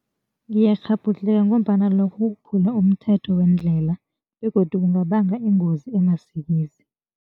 Ngiyakghabhudlheka ngombana lokho kukuphula umthetho weendlela begodu kungabanga iingozi amasikizi.